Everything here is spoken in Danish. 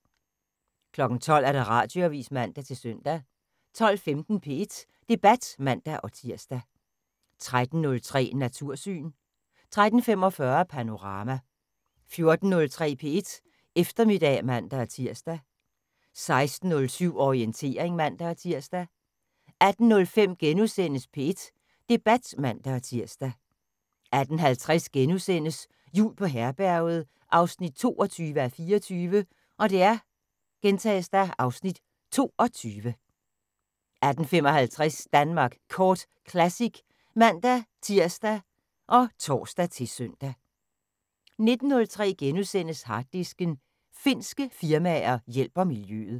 12:00: Radioavis (man-søn) 12:15: P1 Debat (man-tir) 13:03: Natursyn 13:45: Panorama 14:03: P1 Eftermiddag (man-tir) 16:07: Orientering (man-tir) 18:05: P1 Debat *(man-tir) 18:50: Jul på Herberget 22:24 (Afs. 22)* 18:55: Danmark Kort Classic (man-tir og tor-søn) 19:03: Harddisken: Finske firmaer hjælper miljøet *